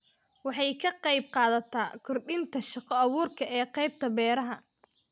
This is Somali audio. Waxay ka qaybqaadataa kordhinta shaqo-abuurka ee qaybta beeraha.